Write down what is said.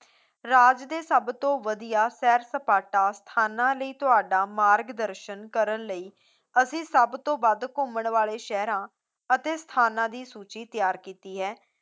ਰਾਜ ਦੇ ਸਭਤੋਂ ਵਧੀਆ ਸੈਰ ਸਪਾਟਾ ਸਥਾਨਾਂ ਲਈ ਤੁਹਾਡਾ ਮਾਰਗ ਦਰਸ਼ਨ ਕਰਨ ਲਈ ਅਸੀਂ ਸਭਤੋਂ ਵੱਧ ਘੁੰਮਣ ਵਾਲੇ ਸ਼ਹਿਰਾਂ ਅਤੇ ਸਥਾਨਾਂ ਦੀ ਸੂਚੀ ਤਿਆਰ ਕੀਤੀ ਹੈ